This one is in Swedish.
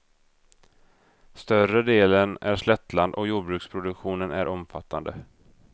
Större delen är slättland och jordbruksproduktionen är omfattande.